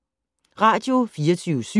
Radio24syv